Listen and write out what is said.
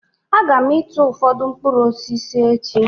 Aga m ịtụ ụfọdụ mkpụrụ osisi echi